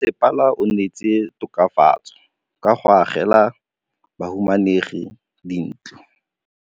Mmasepala o neetse tokafatsô ka go agela bahumanegi dintlo.